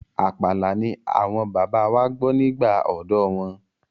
Àpàlà ni àwọn bàbá wa gbọ́ nígbà ọ̀dọ́ wọn.